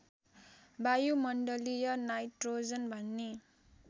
वायुमण्डलीय nitrogen भन्ने